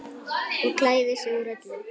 Og klæðir sig úr öllu!